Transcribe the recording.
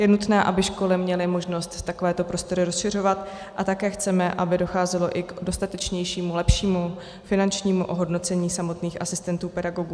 Je nutné, aby školy měly možnost takovéto prostory rozšiřovat, a také chceme, aby docházelo i k dostatečnějšímu lepšímu finančnímu ohodnocení samotných asistentů pedagogů.